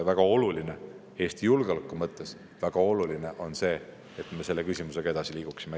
Ma arvan, et Eesti julgeoleku mõttes on väga oluline, et me selle küsimusega edasi liiguksime.